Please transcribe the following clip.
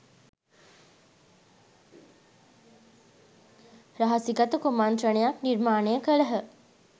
රහසිගත කුමන්ත්‍රණයක් නිර්මාණය කළහ